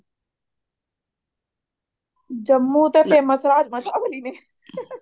ਜੰਮੂ ਦਾ famous ਐ